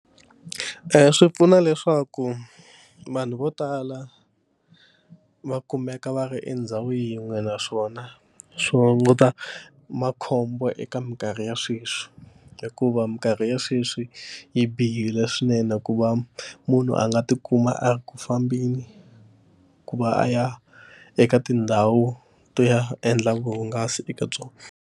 swi pfuna leswaku vanhu vo tala va kumeka va ri endhawu yin'we naswona swi hunguta makhombo eka mikarhi ya sweswi hikuva minkarhi ya sweswi yi bihile swinene ku va munhu a nga tikuma a ri ku fambeni ku va a ya eka tindhawu to ya endla vuhungasi eka byona.